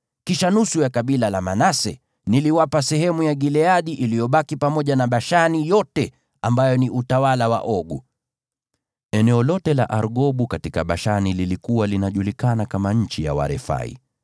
Kisha nusu ya kabila la Manase niliwapa sehemu ya Gileadi iliyobaki pamoja na Bashani yote, ambayo ilikuwa utawala wa Ogu. (Eneo lote la Argobu katika Bashani lilikuwa linajulikana kama nchi ya Warefai.